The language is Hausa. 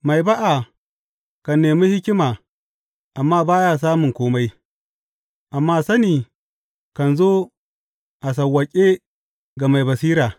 Mai ba’a kan nemi hikima amma ba ya samun kome, amma sani kan zo a sawwaƙe ga mai basira.